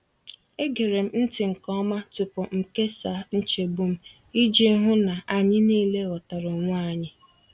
Egere m ntị nke ọma tupu m kesaa nchegbu m, iji hụ na na anyị niile ghọtara onwe anyị.